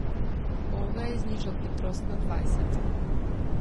Ove je znižal hitrost na dvajset.